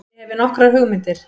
Ég hefi nokkrar hugmyndir.